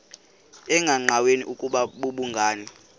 engqanweni ukuba babhungani